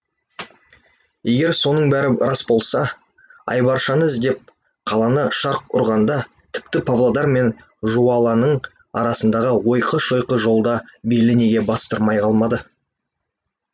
егер соның бәрі рас болса айбаршаны іздеп қаланы шарқ ұрғанда тіпті павлодар мен жуалының арасындағы ойқы шойқы жолда белі неге бастырмай қалмады